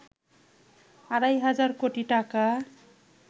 আড়াই হাজার কোটি টাকা